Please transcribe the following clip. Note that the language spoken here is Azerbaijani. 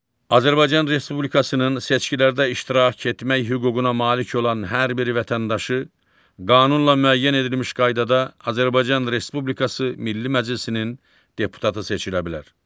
Azərbaycan Respublikasının seçkilərdə iştirak etmək hüququna malik olan hər bir vətəndaşı qanunla müəyyən edilmiş qaydada Azərbaycan Respublikası Milli Məclisinin deputatı seçilə bilər.